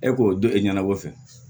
E k'o dɔn e ɲɛna ko fɛn